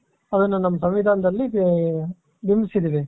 ಅವನ್ನ ನಮ್ಮ ಸಂವಿಧಾನದಲ್ಲಿ ಬಿಂಬಿಸಿದ್ದೀವಿ .